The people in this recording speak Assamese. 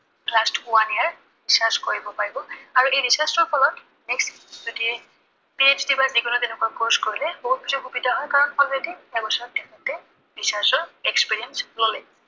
last one year research কৰিব পাৰিব। আৰু research ৰ ফলত next যদি PhD বা যিকোনো তেনেকুৱা course কৰে বহুত কিছু সুবিধা হয়। কাৰন already এবছৰ তেওঁলোকে research ৰ experience ললে।